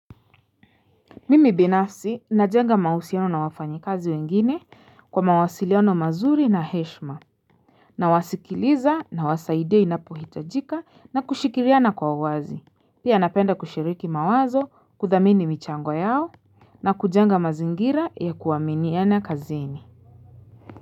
Mimi binafsi najenga mahusiano na wafanyikazi wengine kwa mawasiliano mazuri na heshima Nawasikiliza nawasaidia inapohitajika na kushikiriana kwa wazi Pia napenda kushiriki mawazo kudhamini michango yao na kujenga mazingira ya kuaminiana kazini.